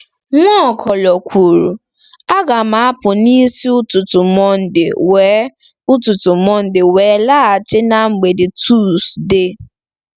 Nwaokolo kwuru, "Aga m apụ n'isi ụtụtụ Mọnde wee ụtụtụ Mọnde wee laghachi na mgbede Tọzdee.